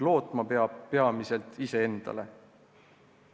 Lootma peab peamiselt iseendale.